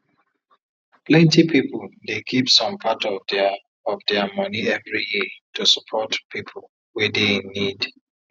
plenty people dey keep some part of dia of dia money every year to support people wey dey in need